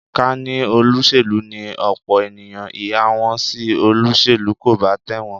Ká ní olóṣèlú ni ọ̀pọ̀ ènìyàn, ìhà wọn sí olóṣèlú kò bá tẹ̀wọ̀n